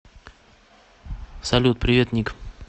салют привет ник